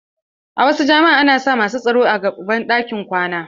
A wasu jami'a ana sa masu tsaro a gaban ɗakunan kwana.